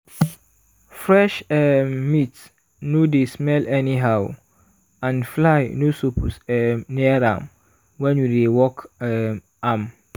fresh um meat no no dey smell anyhow and fly no suppose um near am when you dey work um am.